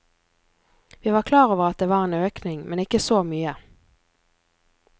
Vi var klar over at det var en økning, men ikke så mye.